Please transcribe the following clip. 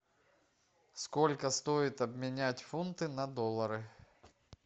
сколько стоит обменять фунты на доллары